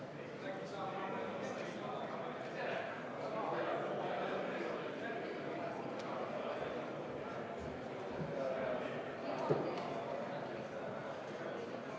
Valimiskomisjon annab Riigikogu liikmele hääletamissedeli isikut tõendava dokumendi alusel, milleks on Riigikogu liikme tunnistus, pass, isikutunnistus või juhiluba.